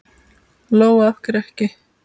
Lóa: Af hverju ekki?